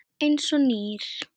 Eins og nýr.